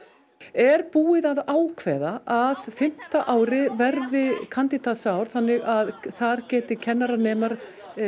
er búið að ákveða að fimmta árið verði þannig að þar geti kennaranemar